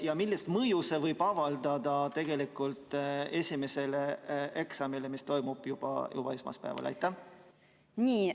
Ja millist mõju see võib avaldada tegelikult esimesele eksamile, mis toimub juba esmaspäeval?